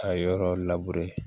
A yɔrɔ